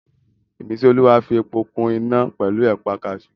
Ìmísíolúwa fi epo kún iná pẹ̀lú ẹ̀pà kaasú